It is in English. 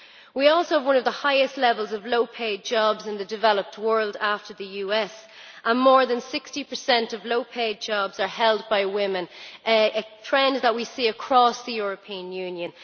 We also have one of the highest levels of low paid jobs in the developed world, after the US, and more than 60 of low paid jobs are held by women, a trend that we see across the European Union.